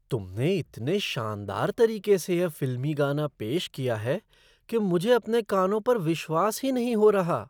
तुमने इतने शानदार तरीके से यह फिल्मी गाना पेश किया है कि मुझे अपने कानों पर विश्वास ही नहीं हो रहा।